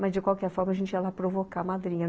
Mas, de qualquer forma, a gente ia lá provocar a madrinha.